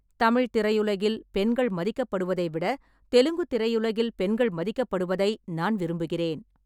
தமிழ் திரையுலகில் பெண்கள் மதிக்கப்படுவதை விட தெலுங்கு திரையுலகில் பெண்கள் மதிக்கப்படுவதை நான் விரும்புகிறேன்.